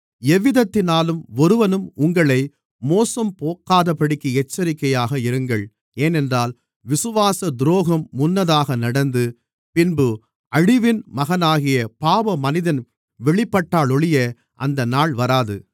எவ்விதத்தினாலும் ஒருவனும் உங்களை மோசம்போக்காதபடிக்கு எச்சரிக்கையாக இருங்கள் ஏனென்றால் விசுவாச துரோகம் முன்னதாக நடந்து பின்பு அழிவின் மகனாகிய பாவமனிதன் வெளிப்பட்டாலொழிய அந்த நாள் வராது